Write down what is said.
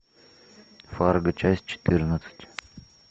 фарго часть четырнадцать